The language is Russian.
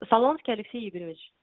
солонский алексей игоревич